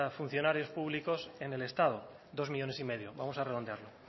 funcionarios públicos en el estado dos millónes y medio vamos a redondearlo